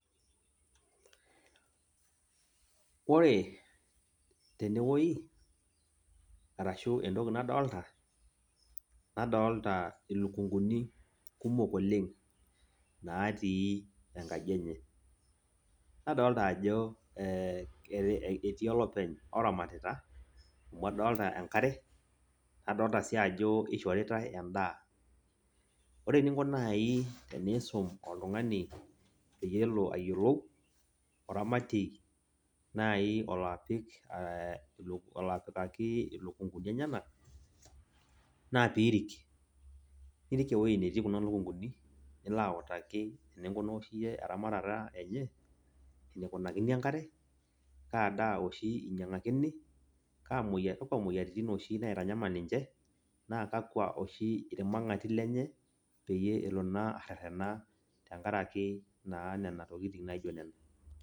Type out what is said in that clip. Ore tene wuei arashu entoki nadolta , nadolta ilikunguni kumok oleng , natii enkaji enye , nadolta ajo e etiii olopeny oramatita , amu adolta enkare ,nadolta sii ajo ishoritae endaa. Ore eninko nai eninko pisum oltungani pelo ayiolou oramatie nai olo apik , olo apikaki ilukunguni enyenak naa piirik. Irik ewueji netii kuna lukunguni , nilo autaki eninkunaa oshi eramatata enye, enikunakini enkare, kaa daa oshi inyiangakini, kakwa moyiaritin oshi naitanyamal ninche naa kakwa oshi irmangati lenye peyie elo naa arerena tenkaraki naa nena tokitin naijo nena.